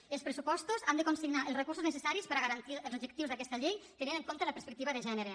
i els pressupostos han de consignar els recursos necessaris per garantir els objectius d’aquesta llei tenint en compte la perspectiva de gènere